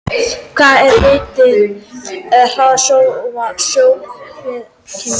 Hvað er vitað um hraða sjónskynjunar?